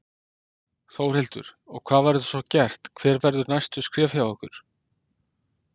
Þórhildur: Og hvað verður svo gert, hver verða næstu skref hjá ykkur?